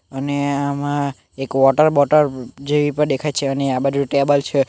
અને આમાં એક વોટર બોટલ જેવી પર દેખાય છે અને આ બાજુ ટેબલ છે.